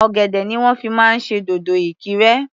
Ọ̀gẹ̀dẹ̀ ni wọ́n fi máa ń ṣe dòdò Ìkirè.